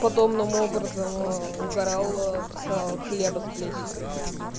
подобным образом угорал с хлеба с плесенью